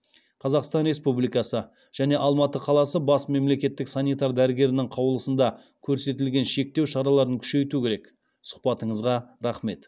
қазақстан республикасы және алматы қаласы бас мемлекеттік санитар дәрігерінің қаулысында көрсетілген шектеу шараларын күшейту керек сұхбатыңызға рахмет